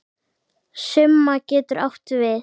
Summa getur átt við